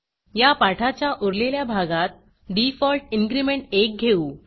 या पाठाच्या उरलेल्या भागात डिफॉल्ट इन्क्रीमेंट 1 घेऊ